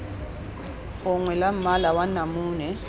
gongwe la mmala wa namune